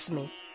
ಅಸ್ಮಿ